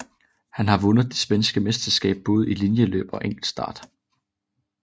Hun har vundet det svenske mesterskab både i linjeløb og enkeltstart